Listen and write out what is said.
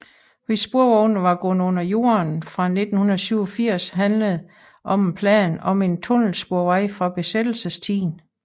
Hvis sporvognene var gået under jorden fra 1987 handlede om en plan om en tunnelsporvej fra besættelsestiden